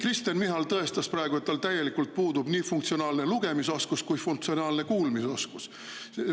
Kristen Michal tõestas praegu, et tal täielikult puudub nii funktsionaalne lugemisoskus kui ka funktsionaalne kuulamisoskus.